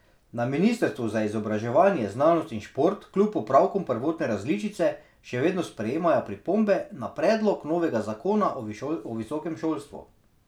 Na ministrstvu za izobraževanje, znanost in šport kljub popravkom prvotne različice še vedno sprejemajo pripombe na predlog novega zakona o visokem šolstvu.